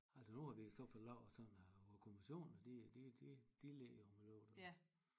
Altså nu har vi så fået lavet det sådan at kommisionen de de de ligger jo med lørdag